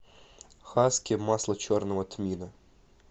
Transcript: хаски масло черного тмина